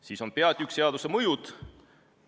Siis on osa "Seaduse mõjud".